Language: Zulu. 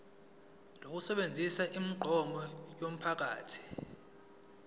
lokusebenzisa imigwaqo yomphakathi